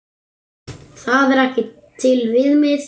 Það er ekki til viðmið.